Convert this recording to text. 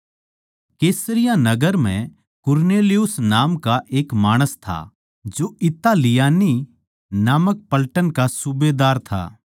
कैसरिया नगर म्ह कुरनेलियुस नाम का एक माणस था जो इतालियानी नामक पलटन का सूबेदार था